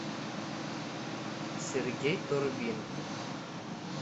сергей турбин